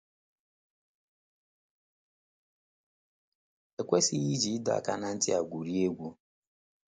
E kwesịghị iji ịdọ aka ná ntị a gwurie egwu.